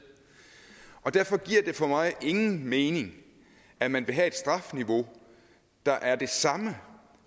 og derfor giver det for mig ingen mening at man vil have et strafniveau der er det samme